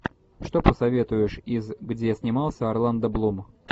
что посоветуешь из где снимался орландо блум